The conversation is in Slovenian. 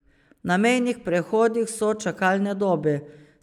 Na mejnih prehodih so čakalne dobe.